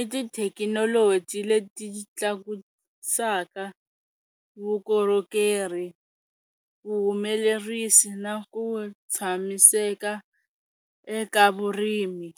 i tithekinoloji leti tlakusaka vukorhokeri vuhumelerisi na ku tshamiseka eka vurimi.